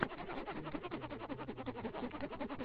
стрим бинго бонго муви фильм